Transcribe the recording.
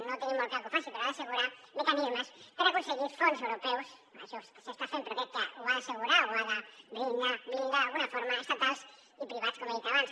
no ho tenim molt clar que ho faci però ha d’assegurar mecanismes per aconseguir fons europeus això s’està fent però crec que ho ha d’assegurar ho ha de blindar d’alguna forma estatals i privats com he dit abans